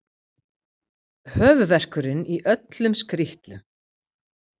Höfuðverkurinn í öllum skrítlum.